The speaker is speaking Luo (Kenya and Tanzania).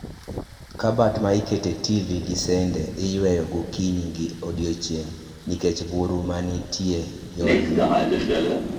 Kabat ma ikete tv gi sende iyweyo gokinyi gi odiechieng' nikech buru manitie yorni